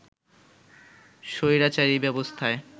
স্বৈরাচারী ব্যবস্থায়